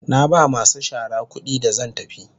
Na ba masu shara kudi da zan tafi.